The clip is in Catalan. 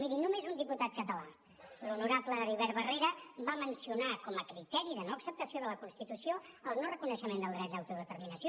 miri només un diputat català l’honorable heribert barrera va mencionar com a criteri de no acceptació de la constitució el no reconeixement del dret d’autodeterminació